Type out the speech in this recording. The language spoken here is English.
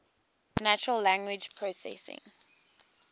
natural language processing